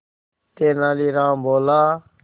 तेनालीराम बोला